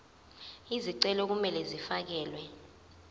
izicelo kumele zifakelwe